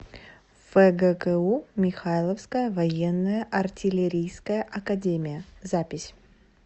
фгку михайловская военная артиллерийская академия запись